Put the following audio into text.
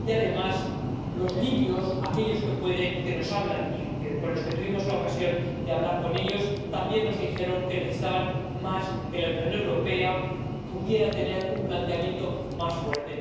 Y, además, los libios, aquellos que pueden y que nos hablan y con los que tuvimos la ocasión de hablar, también nos dijeron que necesitaban que la Unión Europea pudiera tener un planteamiento más fuerte